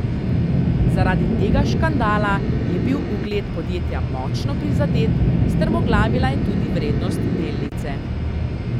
Zaradi tega škandala je bil ugled podjetja močno prizadet, strmoglavila je tudi vrednost delnice.